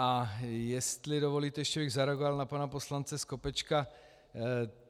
A jestli dovolíte, ještě bych zareagoval na pana poslance Skopečka.